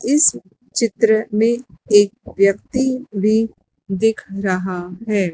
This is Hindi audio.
इस चित्र में एक व्यक्ति भी दिख रहा है।